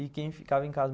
E quem ficava em casa